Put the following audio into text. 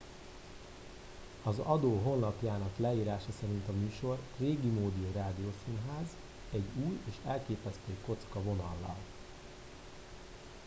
az adó honlapjának leírása szerint a műsor régimódi rádiószínház egy új és elképesztő kocka vonallal